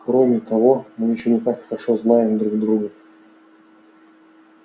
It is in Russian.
кроме того мы ещё не так хорошо знаем друг друга